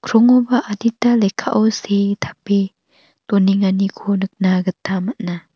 krongoba adita lekkao see tape donenganiko nikna gita man·a.